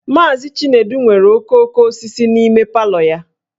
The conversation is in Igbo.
Mazị Chinedu nwere okooko osisi n'ime palọ ya